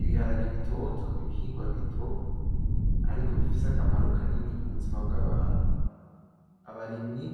Ibiharage bitoto nibihingwa bito, ariko bifise akamaro kanini kubuzima bwabantu. Abarimyi,